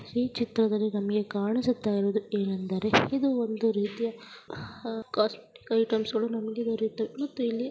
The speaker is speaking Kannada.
ಈ ಚಿತ್ರದಲ್ಲಿ ನಮಗೆ ಕಾಣಿಸುತ್ತಾ ಇರುವುದು ಏನೆಂದರೆ ಇದು ಒಂದು ರೀತಿಯ ಕಾಸ್ಮೆಟಿಕ್ ಐಟಮ್ಸ್ .ನಮಗೆ ದೊರೆಯುತೇವೆ ಮತ್ತು ಇಲ್ಲಿ